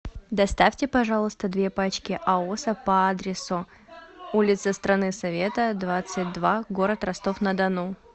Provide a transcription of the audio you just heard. доставьте пожалуйста две пачки аоса по адресу улица страны совета двадцать два город ростов на дону